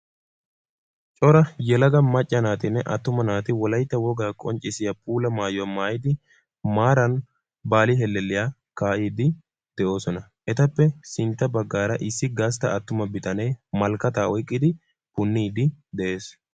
Cora yelaga macca naatinne attuma naati wolaytta wogaa qonccissiyaa puula maayuwa maayyidi maaran baali helelliyya kaaa'ide de'oosona. Etappe sintta baggara issi gastta attuma bitanee malikkaata oyqqidi puunide de'ees.